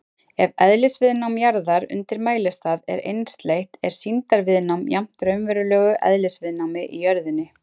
Ef eðlisviðnám jarðar undir mælistað er einsleitt er sýndarviðnámið jafnt raunverulegu eðlisviðnámi í jörðinni.